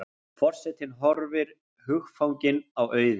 Forsetinn horfir hugfanginn á Auði.